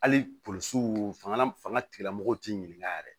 Hali polisiw fanga fanga tigilamɔgɔw ti ɲininkali yɛrɛ